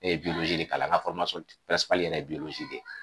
E ye de kalan, ŋa yɛrɛ ye de